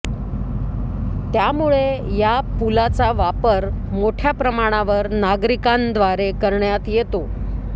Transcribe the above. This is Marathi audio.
त्यामुळे या पूलाचा वापर मोठ्या प्रमाणावर नागरिकांद्वारे करण्यात येतो